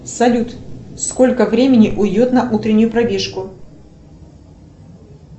салют сколько времени уйдет на утреннюю пробежку